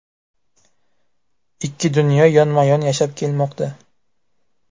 Ikki dunyo yonma-yon yashab kelmoqda.